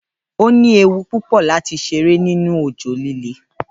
Óní ewu púpò lati ṣeré nínú òjò líle